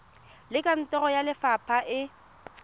le kantoro ya lefapha e